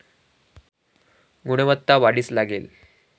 गुणवत्ता वाढीस लागेल